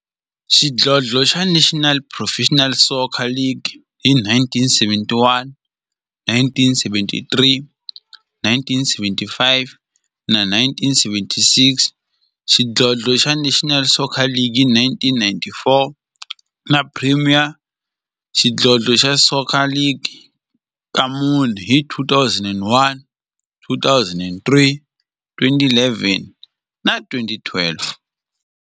Xidlodlo xa National Professional Soccer League hi 1971, 1973, 1975 na 1976, xidlodlo xa National Soccer League hi 1994, na Premier Xidlodlo xa Soccer League ka mune, hi 2001, 2003, 2011 na 2012.